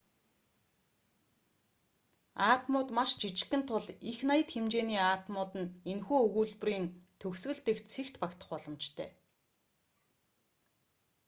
атомууд маш жижигхэн тул их наяд хэмжээний атомууд нь энэхүү өгүүлбэрийн төгсгөл дэх цэгт багтах боломжтой